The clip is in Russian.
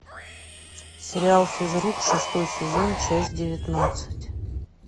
сериал физрук шестой сезон часть девятнадцать